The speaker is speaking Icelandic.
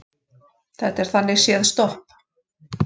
Þetta er þannig séð stopp